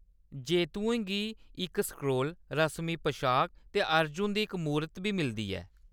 जेत्तुएं गी इक स्क्रोल, रस्मी पशाक ते अर्जुन दी इक मूरत बी मिलदी ऐ।